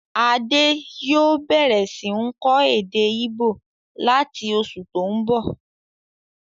Adé yòó bẹ̀rẹ̀ sí ń kọ́ èdè íbò láti oṣù tó n bọ̀